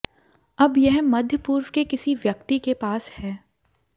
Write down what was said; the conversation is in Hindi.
अब यह मध्य पूर्व के किसी व्यक्ति के पास है